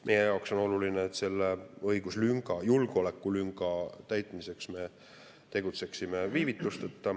Meie jaoks on oluline, et me selle õiguslünga, julgeolekulünga täitmiseks tegutseksime viivitusteta.